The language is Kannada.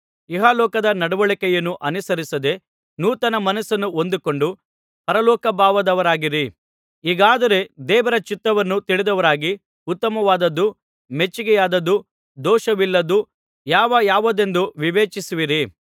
ಇಹಲೋಕದ ನಡವಳಿಕೆಯನ್ನು ಅನುಸರಿಸದೆ ನೂತನ ಮನಸ್ಸನ್ನು ಹೊಂದಿಕೊಂಡು ಪರಲೋಕಭಾವದವರಾಗಿರಿ ಹೀಗಾದರೆ ದೇವರ ಚಿತ್ತವನ್ನು ತಿಳಿದವರಾಗಿ ಉತ್ತಮವಾದದ್ದೂ ಮೆಚ್ಚಿಕೆಯಾದದ್ದೂ ದೋಷವಿಲ್ಲದ್ದೂ ಯಾವ ಯಾವುದೆಂದು ವಿವೇಚಿಸುವಿರಿ